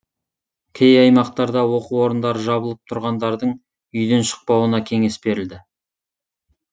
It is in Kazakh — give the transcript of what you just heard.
кей аймақтарда оқу орындары жабылып тұрғындардың үйден шықпауына кеңес берілді